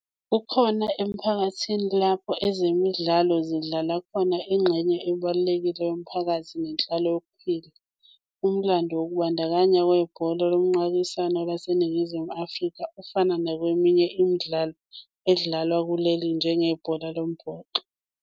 Kukhona emphakathini lapho ezemidlalo zidlala khona ingxenye ebalulekile yomphakathi nezenhlalo yokuphila. Umlando wokubandakanya kwebhola lomqakiswano laseNingizimu Afrika ufana noweminye imidlalo edlalwa kuleli njenge bhola lomboxo.